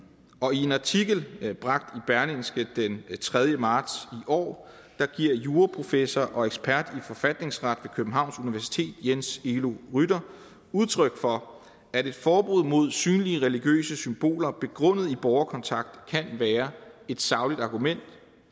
artikel bragt i berlingske den tredje marts i år giver juraprofessor og ekspert i forfatningsret med københavns universitet jens elo rytteri udtryk for at et forbud mod synlige religiøse symboler begrundet i borgerkontakt kan være et sagligt argument